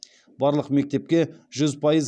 барлық мектепке жүз пайыз